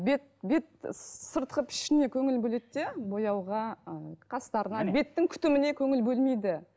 бет бет сыртқы пішініне көңіл бөледі де бояуға қастарына беттің күтіміне көңіл бөлмейді